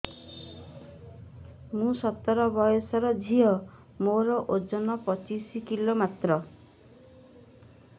ମୁଁ ସତର ବୟସର ଝିଅ ମୋର ଓଜନ ପଚିଶି କିଲୋ ମାତ୍ର